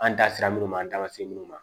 An da sera minnu ma an da se minnu ma